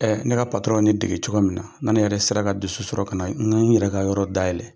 ne ka ye ne dege cogo min na, ne yɛrɛ sera ka dusu sɔrɔ ka na n yɛrɛ ka yɔrɔ dayɛlɛn.